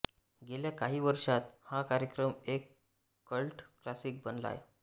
गेल्या काही वर्षांत हा कार्यक्रम एक कल्ट क्लासिक बनला आहे